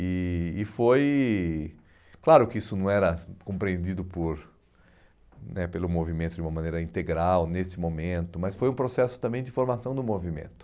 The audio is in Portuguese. E e foi... Claro que isso não era compreendido por né pelo movimento de uma maneira integral nesse momento, mas foi um processo também de formação do movimento.